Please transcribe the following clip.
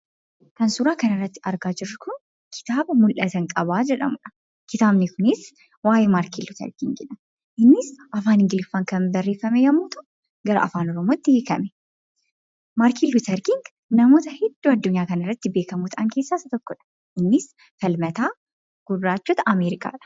Kan suuraa kanarratti argaa jirru kun kitaaba "mul'atan qaba" jedhamuudha. Kitaabni kunis waayee Martiin Luuter Kingidha. Innis afaan Ingiliffaan kan barreeffame yommuu ta'u, gara afaan oromootti hiikame. Martiin Luuter King namoota baayyee addunyaa kanarratti beekamoo ta'an keessaa isa tokkoodha. Innis falmataa gurraachota Ameerikaadha.